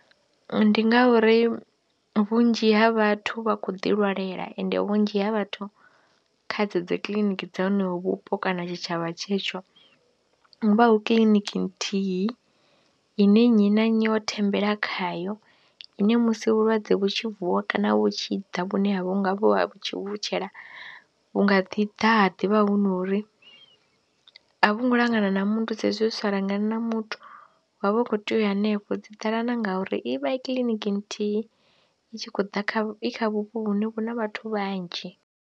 Ndi ngauri vhunzhi ha vhathu vha khou ḓilwalela ende vhunzhi ha vhathu kha dzedzo dzi kiḽiniki dza honoho vhupo kana tshitshavha tshetsho hu vha hu kiḽiniki nthihi ine nnyi na nnyi o thembela khayo, ine musi vhulwadze vhu tshi vuwa kana vhu tshi ḓa vhune vhu nga vhu ha tshivutshela vhu nga ḓi ḓa ha ḓi vha hu no ri a vhu ngo langana na muthu sa hezwi zwi sa langani na muthu wav ha u khou tea u ya hanefho dzi ḓala na nga uri i vha i kiḽiniki nthihi i tshi khou ḓa, i kha vhupo vhune vhu na vhathu vhanzhi.